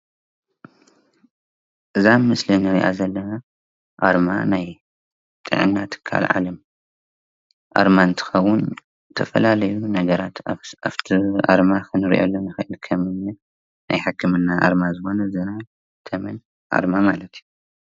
እዚ ምስሊ ናይ ውድብ ጥዕና ዓለም ምልክት እዩ።